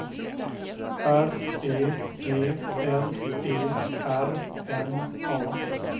R E G L E R N A